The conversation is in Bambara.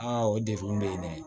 Aa o degun bɛ yen dɛ